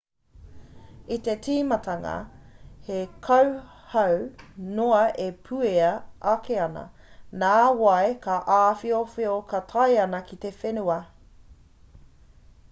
i te tīmatanga he kauhau noa e puea ake ana nā wai ka āwhiowhio ka tae ana ki te whenua